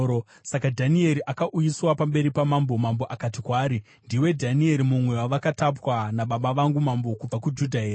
Saka Dhanieri akauyiswa pamberi pamambo, mambo akati kwaari, “Ndiwe Dhanieri mumwe wavakatapwa nababa vangu mambo kubva kuJudha here?